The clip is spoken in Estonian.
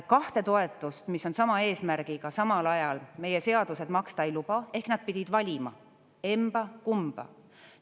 Kahte toetust, mis on sama eesmärgiga, samal ajal meie seadused maksta ei luba, ehk nad pidid valima emba-kumba.